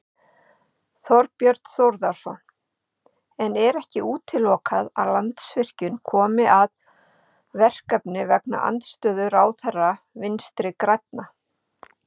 Þorbjörn Þórðarson: En er ekki útilokað að Landsvirkjun komi að verkefninu vegna andstöðu ráðherra Vinstri-grænna?